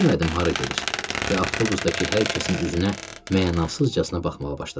Bilmədim hara gedir və avtobusdakı hər kəsin üzünə mənasızcasına baxmağa başladım.